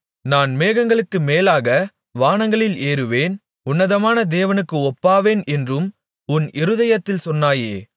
நான் மேகங்களுக்கு மேலாக வானங்களில் ஏறுவேன் உன்னதமான தேவனுக்கு ஒப்பாவேன் என்றும் நீ உன் இருதயத்தில் சொன்னாயே